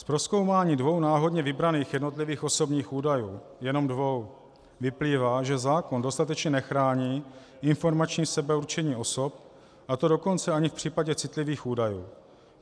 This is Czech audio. Z prozkoumání dvou náhodně vybraných jednotlivých osobních údajů - jen dvou - vyplývá, že zákon dostatečně nechrání informační sebeurčení osob, a to dokonce ani v případě citlivých údajů.